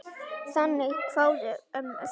Þannig kváðu ömmur.